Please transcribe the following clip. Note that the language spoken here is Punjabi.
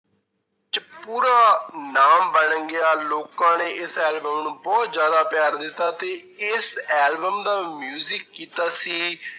ਪੂਰਾ ਨਾਮ ਬਣ ਗਿਆ ਲੋਕਾਂ ਨੇ ਇਸ album ਨੂੰ ਬਹੁਤ ਜ਼ਿਆਦਾ ਪਿਆਰ ਦਿੱਤਾ ਤੇ ਇਸ album ਦਾ ਕੀਤਾ ਸੀ